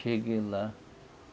Cheguei lá.